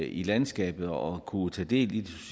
i landskabet og kunne tage del i